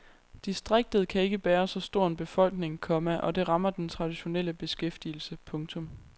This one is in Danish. Distriktet kan ikke bære så stor en befolkning, komma og det rammer den traditionelle beskæftigelse. punktum